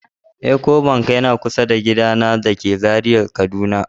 Ecobank yana kusa da gidana dake Zaria, kaduna